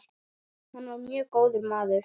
Hann var mjög góður maður.